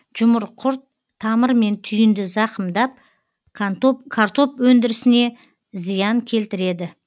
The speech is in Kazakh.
жұмыр құрт тамыр мен түйінді зақымдап картоп өндірісіне зиян келтіреді